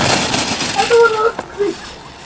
Þetta er atvik.